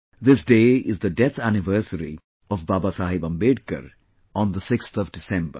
This day is the death anniversary of Babasaheb Ambedkar on 6th December